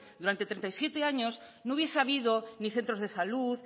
durante treinta y siete años no hubiese habido ni centro de salud